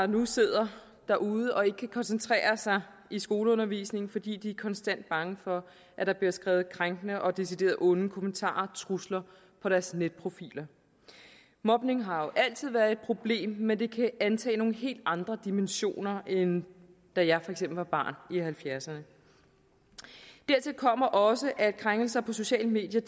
nu sidder derude og ikke kan koncentrere sig i skoleundervisningen fordi de konstant er bange for at der bliver skrevet krænkende og decideret onde kommentarer og trusler på deres netprofiler mobning har jo altid været et problem men det kan antage nogle helt andre dimensioner end da jeg for eksempel var barn i nitten halvfjerdserne dertil kommer også at krænkelser på sociale medier